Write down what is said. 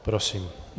Prosím.